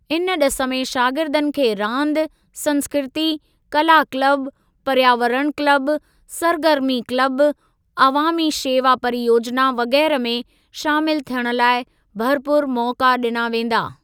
इन ॾिस में शागिर्दनि खे रांदि, संस्कृती, कला क्लब, पर्यावरण क्लब, सरगर्मी क्लब, अवामी शेवा परियोजना वग़ैरह में शामिल थियण लाइ भरपूर मौक़ा ॾिना वेंदा।